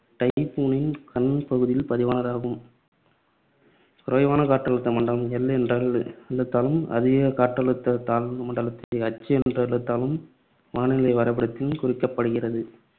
டைபூனின் கண் பகுதியில் பதிவானதாகும். குறைவான காற்றழுத்த மண்டலம் L என்ற எழுத்தாலும் அதிக காற்றழுத்த தாழ்வுமண்டலத்தை H என்ற எழுத்தாலும் வானிலை வரைப்படத்தில் குறிக்கப்படுகிறது.